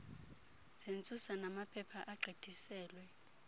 zentsusa namaphepha agqithiselwe